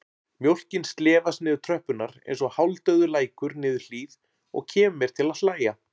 Mjólkin slefast niður tröppurnar einsog hálfdauður lækur niður hlíð og kemur mér til að hlæja.